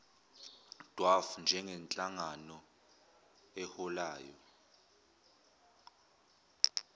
dwaf njengenhlangano eholayo